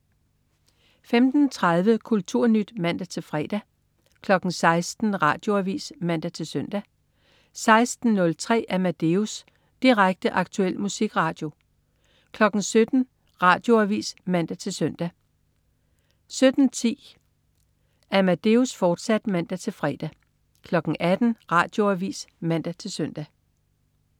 15.30 Kulturnyt (man-fre) 16.00 Radioavis (man-søn) 16.03 Amadeus. Direkte, aktuel musikradio 17.00 Radioavis (man-søn) 17.10 Amadeus, fortsat (man-fre) 18.00 Radioavis (man-søn)